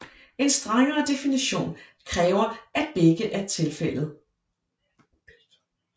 En strengere definition kræver at begge er tilfældet